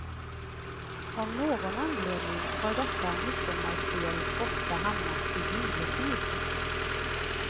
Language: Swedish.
Av någon anledning har detta midsommarspel ofta hamnat i juletid.